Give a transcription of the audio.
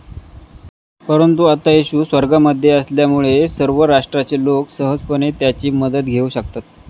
परंतु आता येशू स्वर्गामध्ये असल्यामुळे सर्व राष्ट्राचे लोक सहजपणे त्याची मदत घेऊ शकतात.